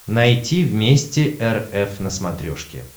найти вместе эр эф на смотрешке